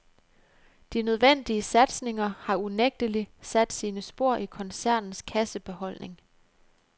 De nødvendige satsninger har unægtelig sat sine spor i koncernens kassebeholdning.